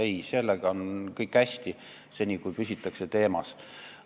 Ei, sellega on kõik hästi, seni kuni püsitakse teemas.